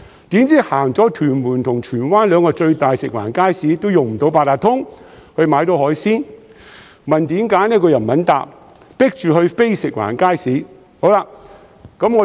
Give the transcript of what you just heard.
誰料逛完屯門和荃灣兩個最大的食環署街市也用不到八達通卡買海鮮，問原因又不肯回答，被迫前往非食環署街市。